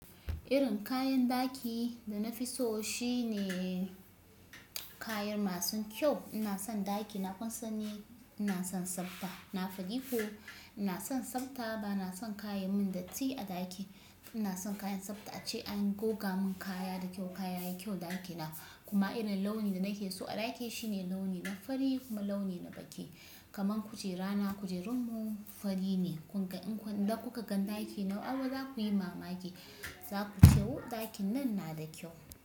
Irin kayan daki da na fi so shine kayan masu kyau. Ina son ɗaki na kun san ni ina son tsabta. Na faɗi ko ina son tsabta ba na son kaya ya min datti a ɗaki. Ina son kayan tsabta ace an goga mun kaya da kyau. Kaya yayi kyau ɗaki na. Kuma irin launin da nake so a ɗaki shine launi na fari kuma launi na baƙi. Kaman kujera na kujerunmu fari ne. Kun ga in kun, idan kuka ga ɗaki na, ai za ku yi mamaki. Za ku ce "wu! Ɗakin nan na da kyau".